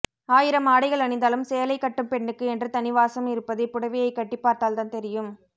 ஆயிரம் ஆடைகள் அணிந்தாலும் சேலை கட்டும் பெண்ணுக்கு என்று தனிவாசம் இருப்பதை புடவையை கட்டி பார்த்தால்தான் தெரியும்